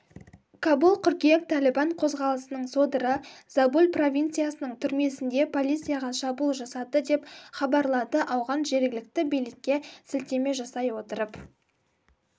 кабул қыркүйек тәлібан қозғалысының содыры забуль провинциясының түрмесінде полицияға шабуыл жасады деп хабарлады ауған жергілікті билікке сілтеме жасай отырып